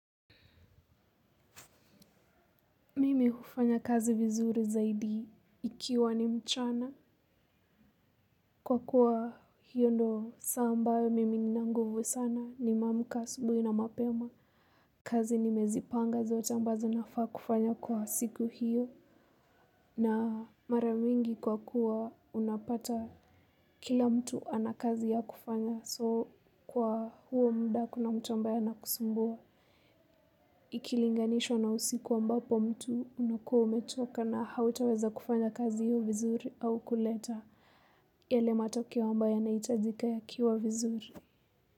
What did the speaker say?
Mimi hufanya kazi vizuri zaidi ikiwa ni mchana kwa kuwa hiyo ndiyo saa ambayo mimi nina nguvu sana nimeamka asubuhi na mapema. Kazi nimezipanga zote ambazo nafaa kufanya kwa siku hiyo na mara nyingi kwa kuwa unapata kila mtu ana kazi ya kufanya so kwa huo muda hakuna mtu ambaye anakusumbua. Ikilinganishwa na usiku ambapo mtu unakuwa umechoka na hutaweza kufanya kazi hiyo vizuri au kuleta. Yale matokeo ambayo yanahitajika yakiwa vizuri.